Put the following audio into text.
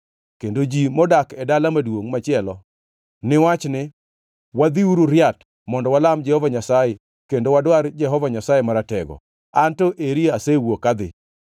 kendo ji modak e dala maduongʼ machielo ni wach ni, ‘Wadhiuru riat mondo walam Jehova Nyasaye kendo wadwar Jehova Nyasaye Maratego, an to eri asewuok adhi.’